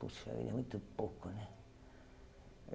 Puxa vida, é muito pouco, né?